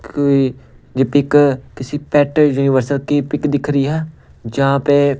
कोई ये पिक किसी पेट यूनिवर्सल की पिक दिख रही है जहाँ पे--